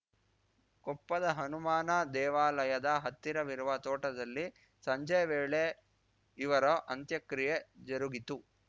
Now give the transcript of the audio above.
ಕೊಪ್ಪದ ಹನುಮಾನ ದೇವಾಲಯದ ಹತ್ತಿರವಿರುವ ತೋಟದಲ್ಲಿ ಸಂಜೆ ವೇಳೆ ಇವರ ಅಂತ್ಯಕ್ರಿಯೆ ಜರುಗಿತು